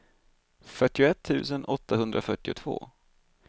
fyrtioett tusen åttahundrafyrtiotvå